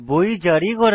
বই জারি করা